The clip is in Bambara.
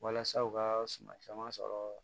Walasa u ka suma caman sɔrɔ